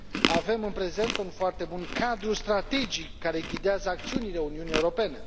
Avem în prezent un foarte bun cadru strategic care ghidează acțiunile Uniunii Europene.